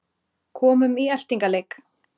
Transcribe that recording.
Komum í eltingaleik